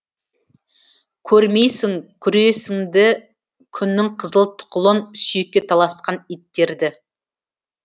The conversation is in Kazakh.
көрмейсің күресінді күннің қызыл тұқылын сүйекке таласқан иттерді